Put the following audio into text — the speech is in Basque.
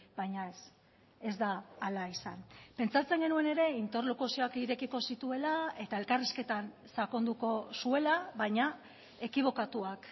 baina ez ez da hala izan pentsatzen genuen ere interlokuzioak irekiko zituela eta elkarrizketan sakonduko zuela baina ekibokatuak